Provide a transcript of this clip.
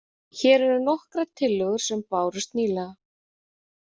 Hér eru nokkrar tillögur sem bárust nýlega.